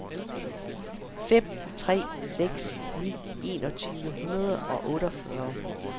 fem tre seks ni enogtyve ni hundrede og otteogfyrre